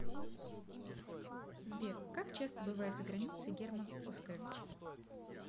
сбер как часто бывает за границей герман оскарович